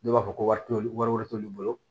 Dɔw b'a fɔ ko wari t'olu wari t'olu bolo